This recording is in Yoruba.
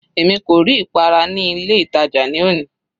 Èmi kò rí ìpara ní ilé ìtàjà ní òní.